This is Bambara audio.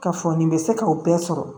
K'a fɔ nin bɛ se k'o bɛɛ sɔrɔ